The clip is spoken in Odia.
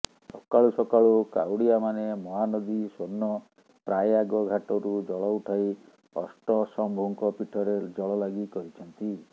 ସକାଳୁ ସକାଳୁ କାଉଡିଆମାନେ ମହାନଦୀ ସ୍ୱର୍ଣ୍ଣ ପ୍ରାୟାଗ ଘାଟରୁ ଜଳ ଉଠାଇ ଅଷ୍ଟଶମ୍ଭୁଙ୍କ ପୀଠରେ ଜଳଲାଗି କରିଛନ୍ତି